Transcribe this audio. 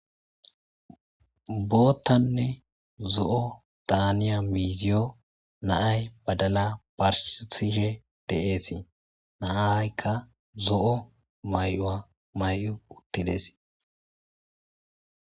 boottanne zo7o daaniya miiziyo naay badala barshtishe de7eetii naahaykka zo7o may7o7a may7o uttidesi